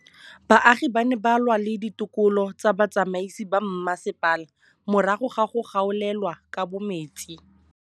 Baagi ba ne ba lwa le ditokolo tsa botsamaisi ba mmasepala morago ga go gaolelwa kabo metsi